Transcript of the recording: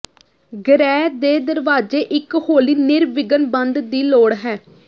ਗ੍ਰਹਿ ਦੇ ਦਰਵਾਜ਼ੇ ਇੱਕ ਹੌਲੀ ਨਿਰਵਿਘਨ ਬੰਦ ਦੀ ਲੋੜ ਹੈ